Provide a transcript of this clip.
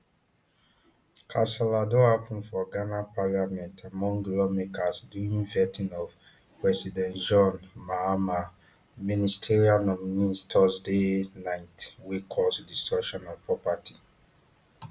kasala don happun for ghana parliament among lawmakers during vetting of president john mahama ministerial nominees thursday night wey cause destruction of property